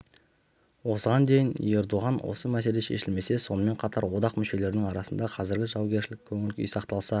осыған дейін ердоған осы мәселе шешілмесе сонымен қатар одақ мүшелерінің арасында қазіргі жаугершілік көңіл-күй сақталса